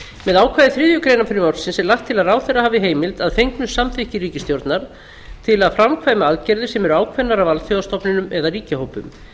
með ákvæði þriðju greinar frumvarpsins er lagt til að ráðherra hafi heimild að fengnu samþykki ríkisstjórnar til að framkvæma aðgerðir sem eru ákveðnar af alþjóðastofnunum eða ríkjahópum